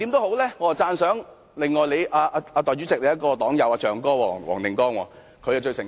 我最讚賞主席的黨友黃定光議員，他最誠實。